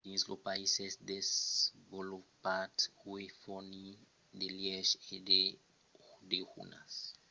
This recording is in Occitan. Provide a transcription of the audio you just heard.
dins los païses desvolopats uèi fornir de lièches e de dejunars de luxe foguèt elevat a una mena de forma d'art